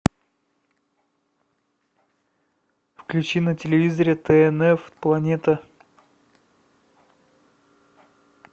включи на телевизоре тнф планета